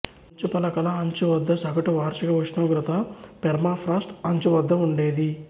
మంచుపలకల అంచు వద్ద సగటు వార్షిక ఉష్ణోగ్రత పెర్మాఫ్రాస్ట్ అంచు వద్ద ఉండేది